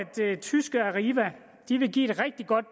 tyske arriva vil give et rigtig godt